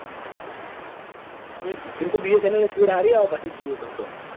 એજ ને એમ તો bsnl speed સારી આવે jio કરતા.